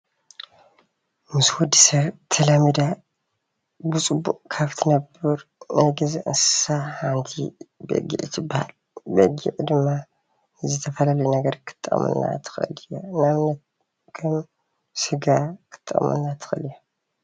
ምስ ወዲ ሰብ ተላሚዳ ብፅቡቅ ካብ እትነብር ናይ ገዛ እንስሳ ሓንቲ በጊዕ ትባሃል፡፡ በጊዕ ድማ ንዝተፈላለዩ ነገር ክትጠቅመና ትክእል እያ፡፡ ንኣብነት ከም ስጋ ክትጠቅመና ትክእል እያ፡፡